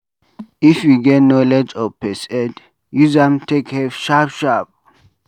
if you get knowlege of first aid, use am take help sharp sharp